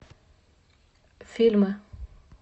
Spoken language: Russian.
фильмы